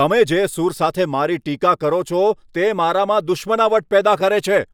તમે જે સૂર સાથે મારી ટીકા કરો છો તે મારામાં દુશ્મનાવટ પેદા કરે છે.